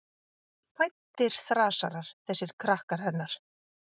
Fæddir þrasarar, þessir krakkar hennar.